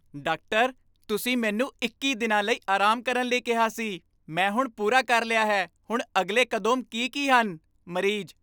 Doctor, ਤੁਸੀਂ ਮੈਨੂੰ ਇੱਕੀ ਦਿਨਾਂ ਲਈ ਆਰਾਮ ਕਰਨ ਲਈ ਕਿਹਾ ਸੀ ਮੈਂ ਹੁਣ ਪੂਰਾ ਕਰ ਲਿਆ ਹੈ ਹੁਣ ਅਗਲੇ ਕਦੋਂਮ ਕੀ ਕੀ ਹਨ? ਮਰੀਜ਼